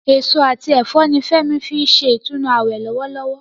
Èso àti ẹ̀fọ́ ni Fẹ́mi fi ń ṣe ìtúnu àwẹ̀ lọ́wọ́lọ́wọ́